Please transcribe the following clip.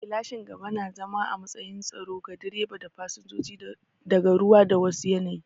Gilashin gaba na zama a matsayin tsaro ga direba da fasinjoji daga ruwa da wa su yanayi